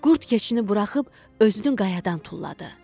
Qurd keçini buraxıb özünü qayadan tulladı.